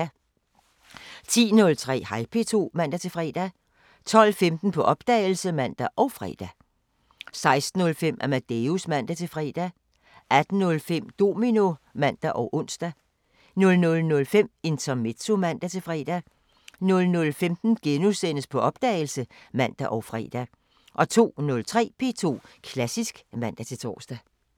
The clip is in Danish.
07:05: P2 Morgenmusik (man-fre) 10:03: Hej P2 (man-fre) 12:15: På opdagelse (man og fre) 16:05: Amadeus (man-fre) 18:05: Domino (man og ons) 00:05: Intermezzo (man-fre) 00:15: På opdagelse *(man og fre) 02:03: P2 Klassisk (man-tor)